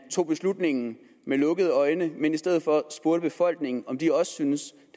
tog beslutningen med lukkede øjne men i stedet for spurgte befolkningen om de også synes